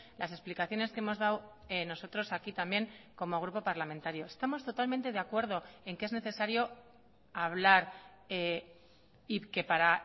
las explicaciones que hemos dado nosotros aquí también como grupo parlamentario estamos totalmente de acuerdo en que es necesario hablar y que para